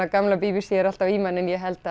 gamla b b c er alltaf í manni en ég held